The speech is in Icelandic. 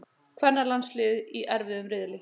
Kvennalandsliðið í erfiðum riðli